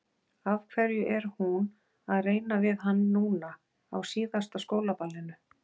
Af hverju er hún að reyna við hann núna, á síðasta skólaballinu?